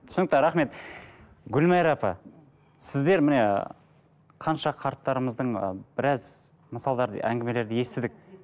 түсінікті рахмет гүлмайра апа сіздер міне қанша қарттарымыздың ы біраз мысалдарды әңгімелерді естідік